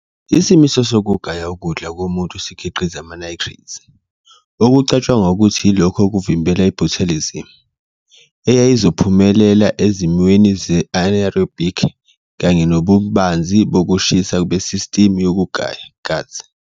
Isimiso sokugaya ukudla komuntu sikhiqiza ama-nitrites, okucatshangwa ukuthi yilokho okuvimbela i- botulism, eyayizophumelela ezimweni ze- anaerobic kanye nobubanzi bokushisa besistimu yokugaya, gut.